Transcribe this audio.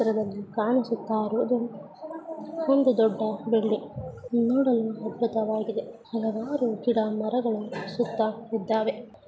ಚಿತ್ರದಲ್ಲಿ ಕಾಣಿಸುತ್ತಾ ಇರುವುದು ಒಂದು ದೊಡ್ಡ ಬಿಲ್ಡಿಂಗ್ ನೋಡಲು ದೊಡ್ಡದಾಗಿದೆ ಹಲವಾರು ಗಿಡ ಮರಗಳು ಸುತ್ತ ಇದ್ದಾವೆ.